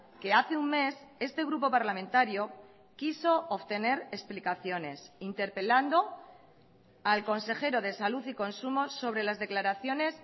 que hace un mes este grupo parlamentario quiso obtener explicaciones interpelando al consejero de salud y consumo sobre las declaraciones